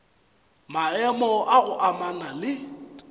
maemo a go amana le